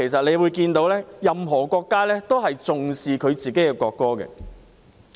由此可見，任何國家都重視自己的國歌。